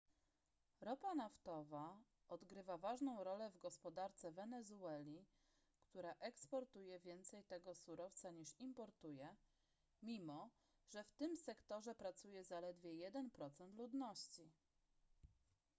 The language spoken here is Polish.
ropa naftowa odgrywa ważną rolę w gospodarce wenezueli która eksportuje więcej tego surowca niż importuje mimo że w tym sektorze pracuje zaledwie jeden procent ludności